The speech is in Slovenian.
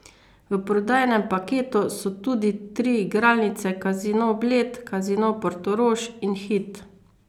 V prodajnem paketu so tudi tri igralnice Casino Bled, Casino Portorož in Hit.